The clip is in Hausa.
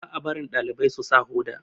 ba a barin dalibai su sa Hoda